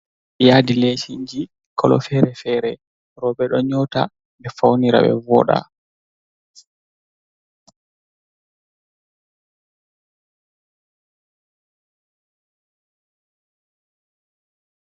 Yadi lechinji kolo fere-fere roɓe ɗo nyouta ɓe faunira ɓe voɗa.